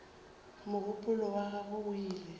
mogopolo wa gagwe o ile